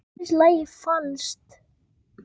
Mér finnst lagið falskt.